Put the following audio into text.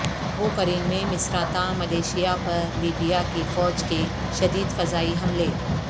ابو Qurain میں Misrata militia پر Libya کی فوج کے شدید فضائی حملے